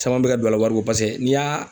Caman bɛ ka don a la wariko paseke n'i y'a